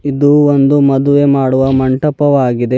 ಇದು ಒಂದು ಮದುವೆ ಮಾಡುವ ಮಂಟಪವಾಗಿದೆ.